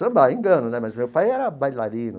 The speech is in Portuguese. Sambar, engano né, mas o meu pai era bailarino.